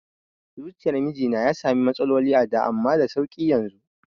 Zuciyar mijina ya sami matsaloli a da amma da sauƙi yanzu